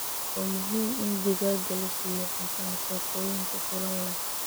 Waa muhiim in digaagga la siiyo cunto nafaqooyin ku filan leh.